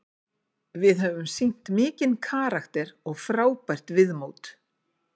Við höfum sýnt mikinn karakter og frábært viðmót.